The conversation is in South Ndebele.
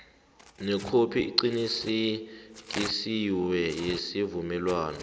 nekhophi eqinisekisiweko yesivumelwano